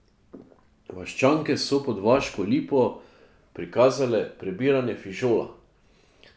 Vaščanke so pod vaško lipo prikazale prebiranje fižola.